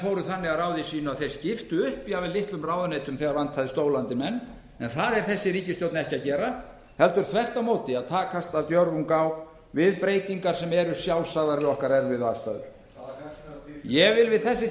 fóru þannig að ráði sínu að þeir skiptu upp jafnvel litlum ráðuneytum þegar vantaði stóla undir menn en það gerir þessi ríkisstjórn ekki heldur tekst þvert á móti af djörfung á við breytingar sem eru sjálfsagðar við okkar erfiðu aðstæður hvaða fjarstæða ég vil við þessi